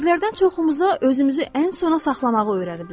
Bizlərdən çoxumuza özümüzü ən sona saxlamağı öyrədiblər.